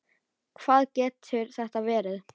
Hvað getur þetta verið?